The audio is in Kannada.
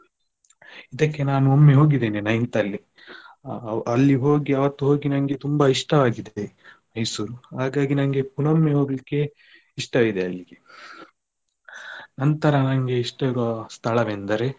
ಇದಕ್ಕೆ ನಾನು ಒಮ್ಮೆ ಹೋಗಿದ್ದೇನೆ ninth ಅಲ್ಲಿ ಅ ಅಲ್ಲಿ ಹೋಗಿ ಅವತ್ತು ಹೋಗಿ ನನ್ಗೆ ತುಂಬ ಇಷ್ಟವಾಗಿದೆ Mysore ಹಾಗಾಗಿ ನನ್ಗೆ ಪುನ್ನೊಮ್ಮೆ ಹೋಗ್ಲಿಕ್ಕೆ ಇಷ್ಟ ಇದೆ ಅಲ್ಲಿ ನಂತರ ನಂಗೆ ಇಷ್ಟ ಇರುವ ಸ್ಥಳವೆಂದರೆ.